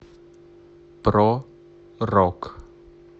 про рок